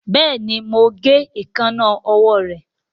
Béèni mọ ń gé Èékánná ọwọ́ re.